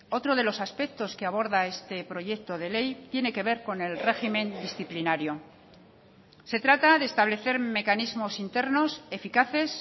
otro de los aspectos que aborda este proyecto de ley tiene que ver con el régimen disciplinario se trata de establecer mecanismos internos eficaces